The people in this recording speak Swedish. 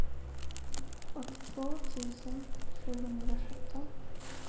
åttiotvå tusen sjuhundrasjutton